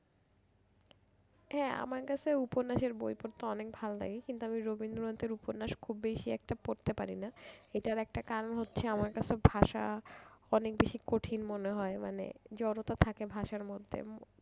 হ্যাঁ আমার কাছেও উপন্যাসের বই পড়তে অনেক ভালো লাগে কিন্তু আমি রবীন্দ্রনাথের উপন্যাস খুব বেশি একটা পড়তে পারি না এটা একটা কারণ হচ্ছে আমার কাছে ভাষা অনেক বেশি কঠিন মনে হয়। মানে জড়তা থাকে ভাষার মধ্যে